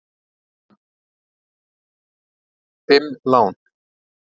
Fimm lán!